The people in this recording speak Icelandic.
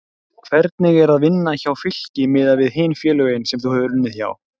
Hvernig er að vinna hjá Fylki miðað við hin félögin sem þú hefur unnið hjá?